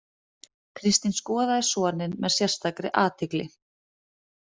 Kristín skoðaði soninn með sérstakri athygli.